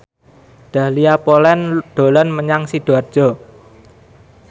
Dahlia Poland dolan menyang Sidoarjo